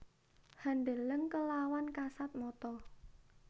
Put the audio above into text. Handeleng kelawan kasat mata